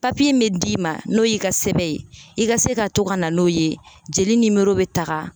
Papiye bɛ d'i ma n'o y'i ka sɛbɛn ye i ka se ka to ka na n'o ye jeli bɛ taga.